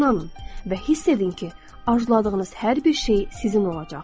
İnanın və hiss edin ki, arzuladığınız hər bir şey sizin olacaq.